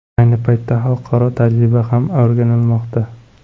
Ayni paytda xalqaro tajriba ham o‘rganilmoqda.